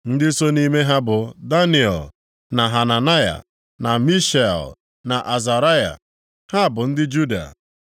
Ndị so nʼime ha bụ Daniel, na Hananaya, na Mishael, na Azaraya, ha bụ ndị Juda.